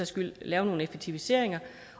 skyld lave nogle effektiviseringer